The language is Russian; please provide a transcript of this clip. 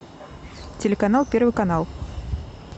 телеканал первый канал